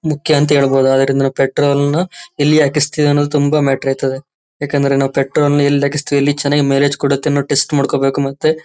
ಮುಖ್ಯ ಅಂತ ಹೇಳಬಹುದು ಅದರಿಂದ ನಾವು ಪೆಟ್ರೋಲ್ ನ ಎಲ್ಲಿ ಹಾಕಿಸ್ತೀವಿ ಅನ್ನೋದು ತುಂಬಾ ಮ್ಯಾಟರ್ ಆಯ್ತದೆ ಏಕೆಂದರೆ ನಾವು ಪೆಟ್ರೋಲ್ ನ ಎಲ್ಲಿ ಹಾಕಿಸ್ತೀವಿ ಎಲ್ಲಿ ಚೆನ್ನಾಗಿ ಮೈಲೇಜ್ ಕೊಡುತ್ತೆ ಅಂತ ಟೆಸ್ಟ್ ಮಾಡ್ಕೋಬೇಕು ಮತ್ತೆ.--